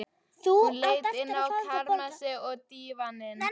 Hún leit inn í kamersið, og á dívaninn.